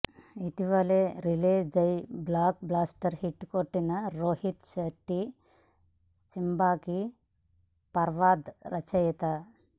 ఇటీవలే రిలీజై blockbuster hit కొట్టిన రోహిత్ శెట్టి సింబాకి ఫర్హాద్ రచయిత